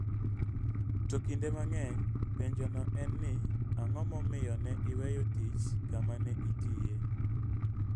To kinde mang'eny, penjono en ni; Ang'o momiyo ne iweyo tich kama ne itiye?